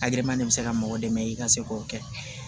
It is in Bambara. A gɛlɛma de be se ka mɔgɔ dɛmɛ i ka se k'o kɛ